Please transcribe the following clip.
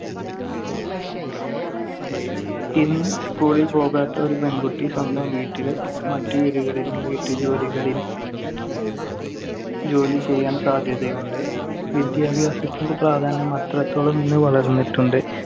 ഇന്ന് school ൽ പോകാത്ത ഒരു പെൺകുട്ടി സ്വന്തം വീട്ടില്‍ മറ്റ് വീടുകളിലും വീട്ടുജോലികളിൽ ജോലിചെയ്യാൻ സാധ്യതയുണ്ട്. വിദ്യാഭ്യാസത്തിന്‍റെ പ്രാധാന്യം അത്രത്തോളം ഇന്ന് വളർന്നിട്ടുണ്ട്.